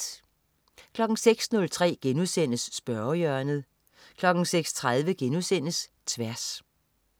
06.03 Spørgehjørnet* 06.30 Tværs*